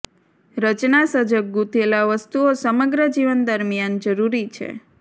રચના સજગ ગૂંથેલા વસ્તુઓ સમગ્ર જીવન દરમિયાન જરૂરી છે